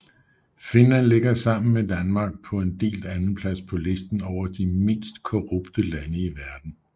Finland ligger sammen med Danmark på en delt andenplads på listen over de mindst korrupte lande i verden